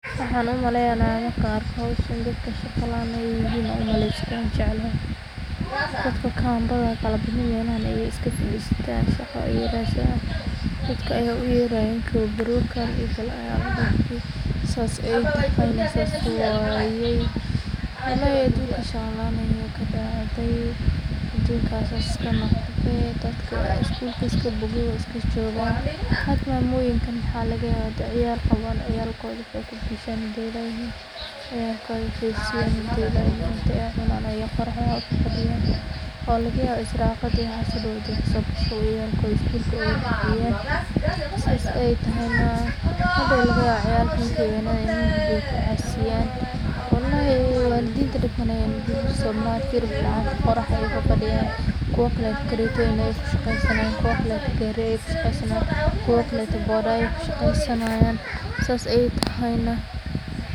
Waxan umalayah marka argo dadkan mashaqo laan ayihin am umalaysah dadka mugan badan mal banan ayay iska fadistan, shaqo ayay radsan dadka ayga uyaranayin guwabro kalay ogal aya la dihi saas ay tahaynah saas waya, walhi adunka shaqa laan ka dacay adunka saas iska noqda, dadka iskulka iska bogi ay iska jogan waxay hada mamoyinka wax lagayabah ciyalkoda wax ay ku bishan ayay la yihin, marka ay cunan ayay qorax aya fadiyan wax lagayaba irsaqada inay mal dow ka sogasho, ciyalkoda schoolka oga bixinayin, saas ay tahonah, hadow laga yaba ciyalka markay way nadan inay ku casiyan, walhi walidinta wax walbo ayay usamynayin hada qoraxda ayay fafadiyan, kuwa kle gartoyinka ka shaqasanayin gari aya ka shaqasanayin kuwa kle moto aya shaqasanayin saas ay tahonah.